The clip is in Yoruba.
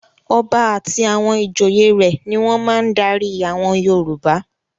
Ọba àti àwọn ìjòyè rẹ̀ ni wọ́n máa ń darí àwọn Yorùbá.